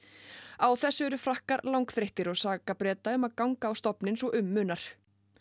á þessu eru Frakkar langþreyttir og saka Breta um að ganga á stofninn svo um munar